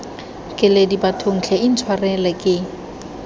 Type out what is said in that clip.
keledi bathong tlhe intshwareleng ke